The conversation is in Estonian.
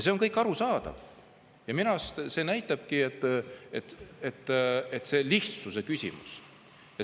See on kõik arusaadav ja minu arust see näitabki, et see lihtne.